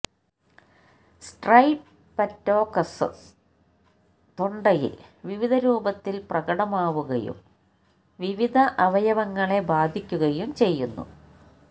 streptococcus തൊണ്ടയിൽ വിവിധ രൂപത്തിൽ പ്രകടമാവുകയും വിവിധ അവയവങ്ങളെ ബാധിക്കുകയും ചെയ്യുന്നു